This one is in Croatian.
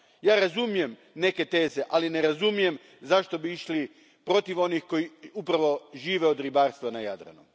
Ja razumijem neke teze, ali ne razumijem zašto bismo išli protiv onih koji upravo žive od ribarstva na Jadranu.